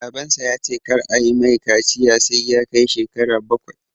Babansa ya ce kar ayi mai kaciya sai ya kai shekara bakwai